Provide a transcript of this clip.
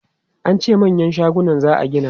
An ce manyan shaguna za a gini.